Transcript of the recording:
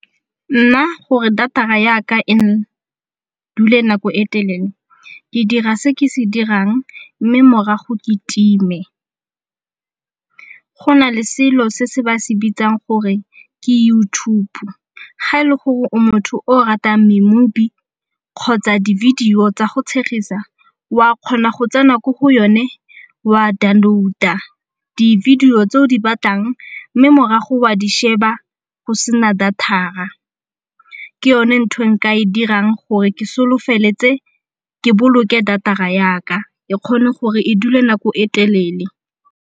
Nna gore data-ra yaka e dule nako e telele ke dira se ke se dirang mme morago ke time. Go na le selo se se ba se bitsang gore ke YouTube. Ga e le gore o motho o ratang di-movie kgotsa di-video tsa go tshegisa wa kgona go tsena ko go yone wa download-a di-video tse o di batlang mme morago wa di sheba o se na data-ra ke yone ntho e nka e dirang gore ke solofeletse, ke boloke data-ra yaka e kgone gore e dule nako e telele.